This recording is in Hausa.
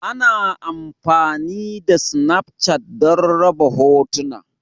Ana amfani da Snafchat don raba hotuna.